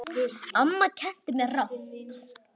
Amma kenndi mér margt.